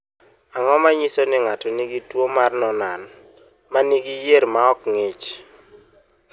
Ang’o ma nyiso ni ng’ato nigi tuwo mar Noonan ma nigi yier ma ok ng’ich?